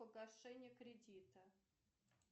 погашение кредита